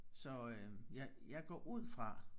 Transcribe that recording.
så øh jeg jeg går ud fra